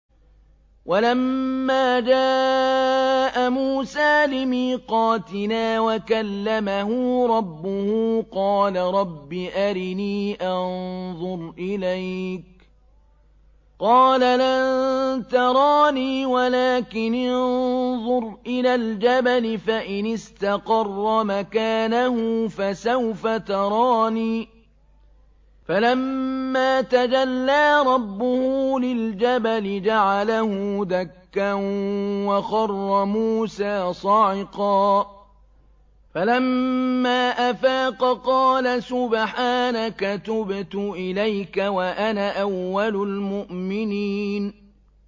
وَلَمَّا جَاءَ مُوسَىٰ لِمِيقَاتِنَا وَكَلَّمَهُ رَبُّهُ قَالَ رَبِّ أَرِنِي أَنظُرْ إِلَيْكَ ۚ قَالَ لَن تَرَانِي وَلَٰكِنِ انظُرْ إِلَى الْجَبَلِ فَإِنِ اسْتَقَرَّ مَكَانَهُ فَسَوْفَ تَرَانِي ۚ فَلَمَّا تَجَلَّىٰ رَبُّهُ لِلْجَبَلِ جَعَلَهُ دَكًّا وَخَرَّ مُوسَىٰ صَعِقًا ۚ فَلَمَّا أَفَاقَ قَالَ سُبْحَانَكَ تُبْتُ إِلَيْكَ وَأَنَا أَوَّلُ الْمُؤْمِنِينَ